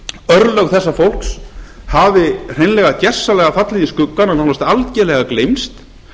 örlög þessa fólks hafi hreinlega gjörsamlega fallið í skuggann og nánast algjörlega gleymst